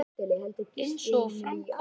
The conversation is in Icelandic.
Eins og fram kom á